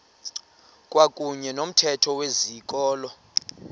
kwakuyne nomthetho wezikolo